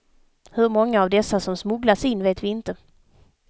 Hur många av dessa som smugglats in vet vi inte.